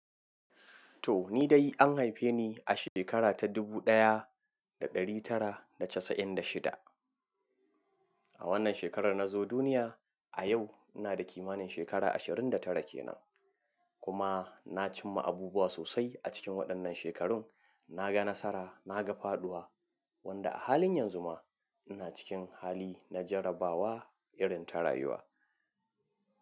To ni dai an haife ni a shekara ta dubu ɗaya da ɗari tara da casa'in da shida. A wannan shekarar na zo duniya, a yau ina da kimanin shekara ashirin da tara kenan. Kuma na cimma abubuwa sosai a cikin waɗannan shekarun, na ga nasara, na ga faɗuwa, wanda a halin yanzu ma ina cikin hali na jarabawa irin ta rayuwa.